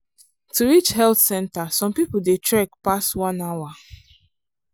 to reach health centre some people dey trek pass one hour.